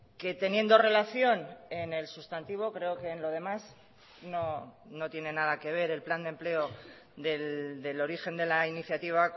que teniendo relación en el sustantivo creo que en lo demás no tiene nada que ver el plan de empleo del origen de la iniciativa